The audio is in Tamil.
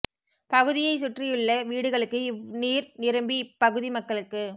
பகுதியை சுற்றியுள்ள வீடுகளுக்கு இவ் நீர் நிரம்பி இப் பகுதி மக்களுக்கு